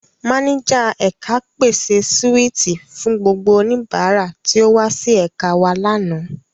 Máníjà ẹ̀ka pèse síwìtì fún gbogbo oníbàárà tí ó wá sí ẹ̀ka wa lánàá.